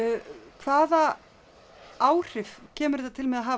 hvaða áhrif kemur þetta til með að hafa